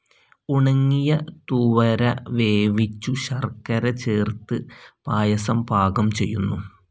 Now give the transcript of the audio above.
ഉണങ്ങിയ തുവര വേവിച്ചു ശർക്കര ചേർത്ത് പായസം പാകം ചെയ്യുന്നു.